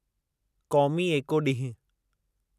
क़ौमी एको ॾींहुं